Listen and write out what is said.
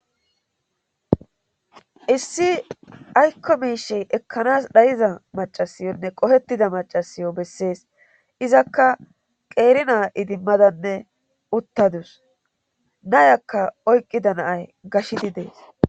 issi aykko miishey ekkanas dhayiza macasiyonne qohettida macasiyo bessees izakka qeerinaa idimmadanne uttadus nayakka oyqqida naay gashidi dees